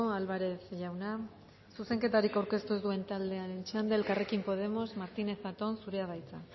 álvarez jauna zuzenketarik aurkeztu ez duen taldearen txanda elkarrekin podemos martínez zatón zurea da hitza